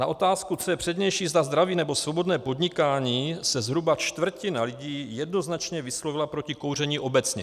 Na otázku, co je přednější, zda zdraví, nebo svobodné podnikání, se zhruba čtvrtina lidí jednoznačně vyslovila proti kouření obecně.